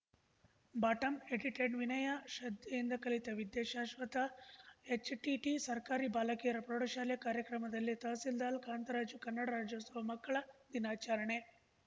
bottom edited ವಿನಯ ಶ್ರದ್ಧೆಯಿಂದ ಕಲಿತ ವಿದ್ಯೆ ಶಾಶ್ವತ ಎಚ್‌ಟಿಟಿ ಸರ್ಕಾರಿ ಬಾಲಕಿಯರ ಪ್ರೌಢಶಾಲೆ ಕಾರ್ಯಕ್ರಮದಲ್ಲಿ ತಹಸೀಲ್ದಾಲ್ ಕಾಂತರಾಜು ಕನ್ನಡ ರಾಜ್ಯೋತ್ಸವ ಮಕ್ಕಳ ದಿನಾಚರಣೆ